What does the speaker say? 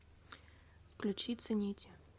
включи цените